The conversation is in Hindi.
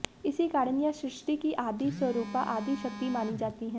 इसी कारण यह सृष्टि की आदि स्वरूपा आदि शक्ति मानी जाती हैं